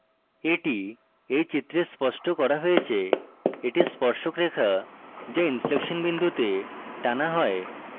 এটি এই চিত্রে স্পষ্ট করা হয়েছে এটি স্পর্শক রেখা যা inflection বিন্তে টানা হয়